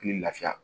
Ni lafiya